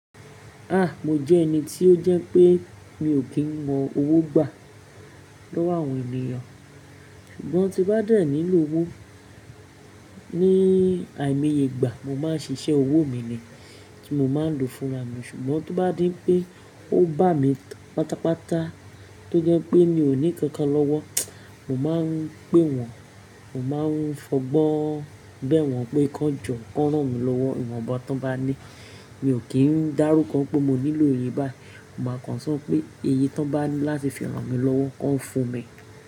A! Mo jẹ́ ẹni tí ó jẹ́ pé mi ò kí ń mọ owó gbà lọ́wọ́ àwọn ènìyàn, ṣùgbọ́n tí n bá dẹ́ nílò owó ní àìmoye ìgbà, mo máa ń ṣiṣẹ́ owó mi ni tí mo máa ń lò fúnra mi, ṣùgbọ́n tí bá di pé ó bà mí pátápátá tó jẹ́ pé mi ò ní inkan kan lọ́wọ́, mo máa ń pé wọ́n, mo máa ń fọgbọ́n bẹ wọ́n pé kí wọ́n jọ ran mi lọ́wọ́, ìwọ̀nba ti won bá ní. Mi ò kí ń dárúkọ pé mo nílò iye bayii, mo máa kàn so pé iye tí wọ́n bá ní láti fi ràn mí lọ́wọ́, kí wọ́n fún mi.